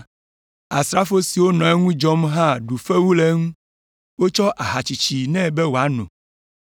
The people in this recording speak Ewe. Asrafo siwo nɔ eŋu dzɔm hã ɖu fewu le eŋu. Wotsɔ aha tsitsi nɛ be wòano,